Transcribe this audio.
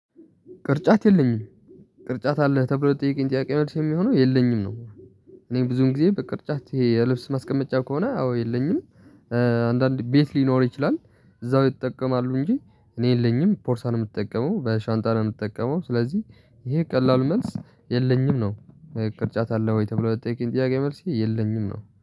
ቅርጫት የለኝም። ቅርጫት አለ? ተብሎ ለተጠየቀኝ ጥያቄ መልስ የሚሆነው የለኝም ነው። እኔ ብዙን ጊዜ በቅርጫት ይሄ የልብስ ማስቀመጫው ከሆነ አዎ የለኝም። አንድአንድ ቤት ሊኖር ይችላል። እዛው ይጠቀማሉ እንጂ እኔ የለኝም ቦርሳ ነው የምጠቀመው፣ በሻንጣ ነው የምጠቀመው ስለዚህ ይሄ ቀላሉ መልስ የለኝም ነው። ቅርጫት አለ ወይ? ተብሎ ለተጠየቀኝ ጥያቄ መልስ የለኝም ነው።